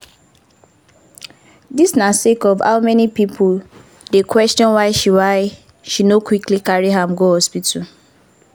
dis na sake of how many pipo dey question why she why she no quickly carry am go hospital.